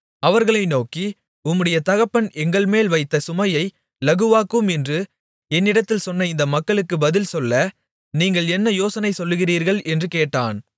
அவர்களை நோக்கி உம்முடைய தகப்பன் எங்கள்மேல் வைத்த சுமையை இலகுவாக்கும் என்று என்னிடத்தில் சொன்ன இந்த மக்களுக்கு பதில் சொல்ல நீங்கள் என்ன யோசனை சொல்லுகிறீர்கள் என்று கேட்டான்